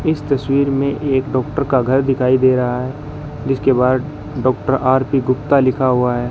इस तस्वीर में एक डॉक्टर का घर दिखाई दे रहा जिसके बाहर डॉक्टर आर_पी गुप्ता लिखा हुआ है।